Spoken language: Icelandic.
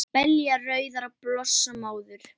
Belja rauðar blossa móður